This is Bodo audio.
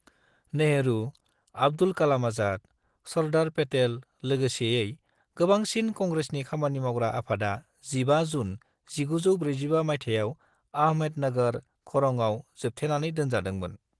नेहरू, आब्दुल कालाम आजाद, सर्दार पेटेल लोगोसेयै गोबांसिन कंग्रेसनि खामानि मावग्रा आफादा 15 जून 1945 मायथाइयाव आहमेदनगर खरंआव जोबथेनानै दोनजादोंमोन।